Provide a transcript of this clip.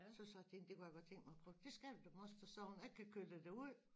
Så sagde jeg til hende det kunne jeg godt tænke mig at prøve det skal du da moster sagde hun jeg kan køre dig derud